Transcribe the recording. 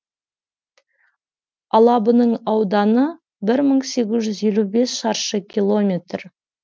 алабының ауданы бір мың сегіз жүз елу бес шаршы километр